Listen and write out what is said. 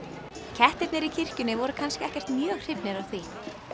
kettirnir í kirkjunni voru kannski ekkert mjög hrifnir af því